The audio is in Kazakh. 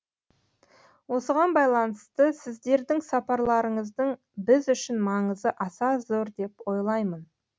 осыған байланысты сіздердің сапарларыңыздың біз үшін маңызы аса зор деп ойлаймын